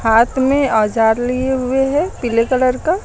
हाथ में औजार लिए हुए हैं पीले कलर का।